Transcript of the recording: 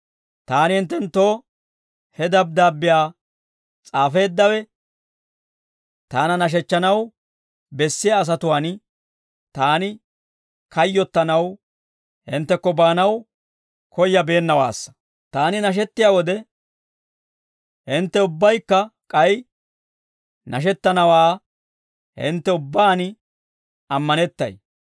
Taani hinttenttoo he dabddaabbiyaa s'aafeeddawe, taana nashechchanaw bessiyaa asatuwaan taani kayyottanaw hinttekko baanaw koyabeennawaassa; taani nashettiyaa wode, hintte ubbaykka k'ay nashettanawaa hintte ubbaan ammanettay.